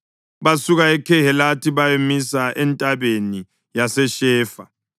Basuka eKhehelatha bayamisa eNtabeni yaseShefa.